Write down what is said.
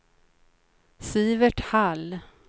Sivert Hall